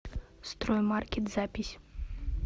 строймаркет запись